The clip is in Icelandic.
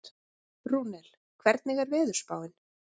Rúnel, hvernig er veðurspáin?